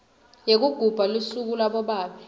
yekugubha lusuku labobabe